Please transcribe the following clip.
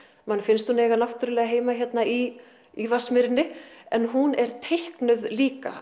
manni finnst hún eiga náttúrulega heima hérna í í Vatnsmýrinni en hún er teiknuð líka